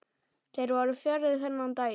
Þeir voru fjarri þennan daginn.